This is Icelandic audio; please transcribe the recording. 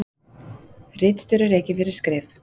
Ritstjóri rekinn fyrir skrif